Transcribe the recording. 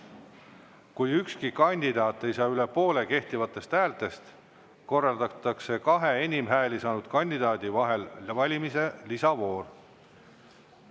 Kui ükski kandidaat ei saa üle poole kehtivatest häältest, korraldatakse kahe enim hääli saanud kandidaadi vahel valimise lisavoor.